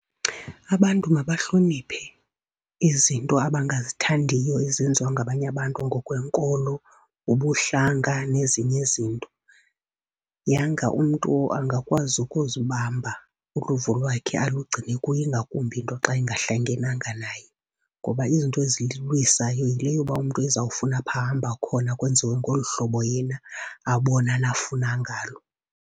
Abantu mabahloniphe izinto abangazithandayo ezenziwa ngabanye abantu ngokwenkolo, ngobuhlanga, nezinye izinto. Yanga umntu angakwazi ukuzibamba, uluvo lwakhe alugcine kuye ingakumbi into xa into ingahlangenanga naye. Ngoba izinto ezindilwisayo yile yoba umntu ezawufuna apha ahamba khona kwenziwe ngolu hlobo yena abona nafuna ngalo.